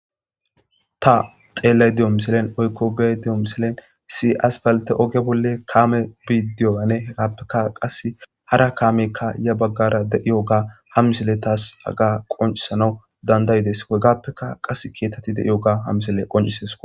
ta xeellay diyo miselen oykko bee diyo miselen si as balte oge bolle kaame bidiyoane hegappekka qase hara kaameykka ya baggara deiyo ga ha misele taas aga qoncisana dandayides hegappeka qass keetatti deiyo ga ha misele qoncises